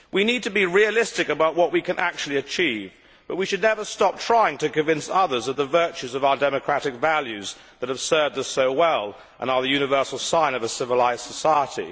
We need to be realistic about what we can actually achieve, but we should never stop trying to convince others of the virtues of our democratic values that have served us so well and are the universal sign of a civilised society.